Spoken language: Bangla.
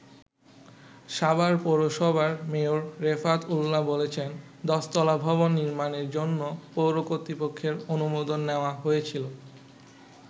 সাভার পৌরসভার মেয়র রেফাত উল্লাহ বলেছেন, দশতলা ভবন নির্মাণের জন্য পৌর কর্তৃপক্ষের অনুমোদন নেওয়া হয়েছিল।